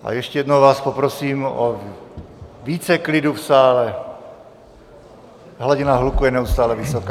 A ještě jednou vás poprosím o více klidu v sále, hladina hluku je neustále vysoká.